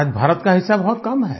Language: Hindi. आज भारत का हिस्सा बहुत कम है